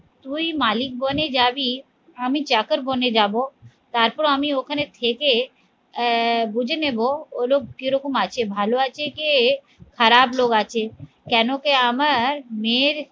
তুই মালিক বনে যাবি আমি চাকর বনে যাব তারপর আমি ওখানে থেকে আহ বুঝে নেব ওগুলোয় কিরকম আছে ভালো আছে যে খারাপ লোক আছে কেন কি আমার মেয়ের